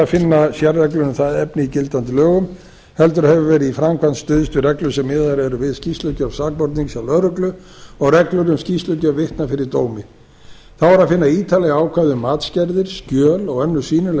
ekki er að finna sérreglur um það efni í gildandi lögum heldur hefur verið í framkvæmd stuðst við reglur sem miðaðar eru við skýrslugjöf sakbornings hjá lögreglu og reglur um skýrslugjöf vitna fyrir dómi þá er að finna ítarleg ákvæði um matsgerðir skjöl og önnur sýnileg